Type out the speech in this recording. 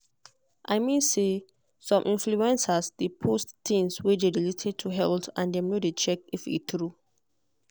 i mean say some influencers dey post things wey dey related to health and dem no dey check if e true.